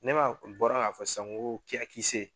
Ne maa bɔra' ka fɔ sisan ko kia kisse